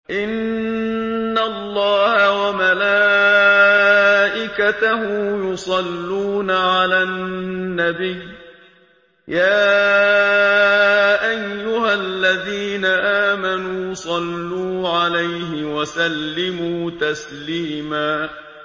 إِنَّ اللَّهَ وَمَلَائِكَتَهُ يُصَلُّونَ عَلَى النَّبِيِّ ۚ يَا أَيُّهَا الَّذِينَ آمَنُوا صَلُّوا عَلَيْهِ وَسَلِّمُوا تَسْلِيمًا